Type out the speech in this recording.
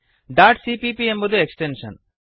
dot CPP ಎಂಬುದು extension